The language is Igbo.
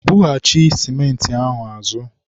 bughachi sịmentị a azụ!